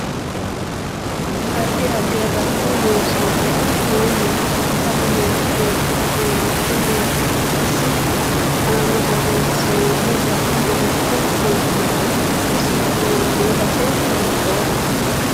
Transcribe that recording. Addi addi agatto loonsanihu mayiiniti aggu manchi beetira aano horo maati isi aana boreesinooni borro maricho kultanno isi afamanno base hiitoote